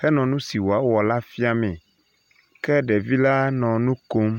henɔ nu si woawɔ la fia mee ke ɖevi la ɔ nu kom.